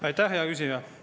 Aitäh, hea küsija!